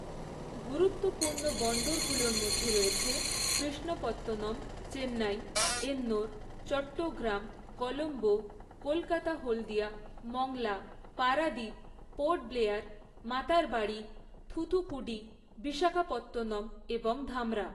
গুরুত্বপূর্ণ বন্দরগুলোর মধ্যে রয়েছে কৃষ্ণপত্তনম, চেন্নাই, এন্নোর, চট্টগ্রাম, কলম্বো, কলকাতা হলদিয়া, মংলা, পারাদ্বীপ, পোর্ট ব্লেয়ার, মাতারবাড়ি, থুথুকুডি, বিশাখাপত্তনম এবং ধামরা।